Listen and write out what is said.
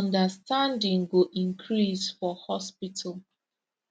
understanding go increase for hospital